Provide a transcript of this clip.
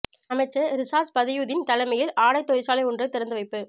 அமைச்சர் ரிஷாத் பதியுதீன் தலைமையில் ஆடைத் தொழிற்சாலை ஒன்று திறந்து வைப்பு